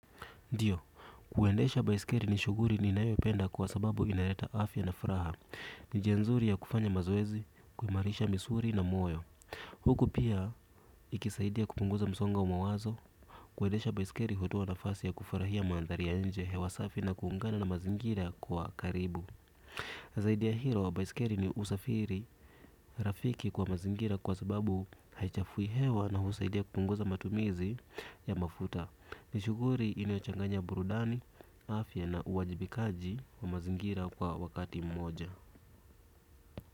Ndiyo, kuendesha baisikeli ni shughuli ninayopenda kwa sababu inaleta afya na furaha. Ni njia nzuri ya kufanya mazoezi, kuimarisha misuli na moyo. Huku pia, ikisaidia kupunguza msongo wa mawazo. Kuendesha baisikeli hutoa nafasi ya kufurahia mandhari ya nje hewa safi na kuungana na mazingira kwa karibu zaidi ya hilo wa baisikeli ni usafiri rafiki kwa mazingira kwa sababu haichafui hewa na husaidia kupunguza matumizi ya mafuta. Ni shughuli inachanganya burudani, afya na uwajibikaji wa mazingira kwa wakati mmoja.